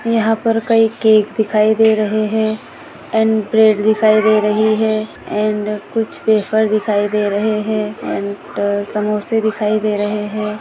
यहा पर कई केक दिखाई दे रहे है अँड ब्रेड दिखाई दे रही है अँड कुछ वेफ़र दिखाई दे रही है अँड > समोसे दिखाई दे रहे है।